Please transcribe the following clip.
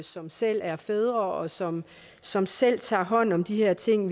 som selv er fædre og som som selv tager hånd om de her ting